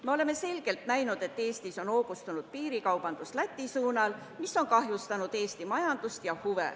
Me kõik oleme näinud, et Eestis on hoogustunud piirikaubandus Läti suunal, mis on kahjustanud Eesti majandust.